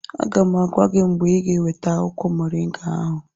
Aga m agwa gị mgbe ịga eweta akwụkwọ moringa ahụ